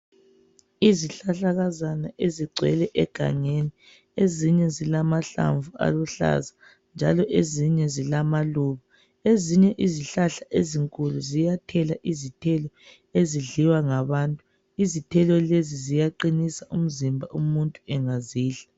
Izihlahlakazana ezigcwele egangeni ezinye zilamahlamvu aluhlaza njalo ezinye zilamaluba, ezinye izihlahla ezinkulu ziyathela izithelo ezidliwa ngabantu. Izithelo lezi ziyaqinisa umzimba umuntu engazidla.